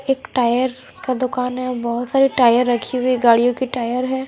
एक टायर का दुकान है बहोत सारी टायर रखी हुई है गाडियों की टायर है।